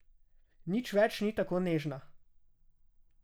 Nič več ni tako nežna.